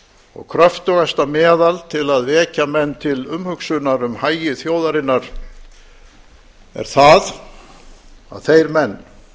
og kröptugasta meðal til að vekja menn til umhugsunar um hagi þjóðarinnar er það að þeir menn